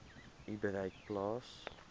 u bereik plaas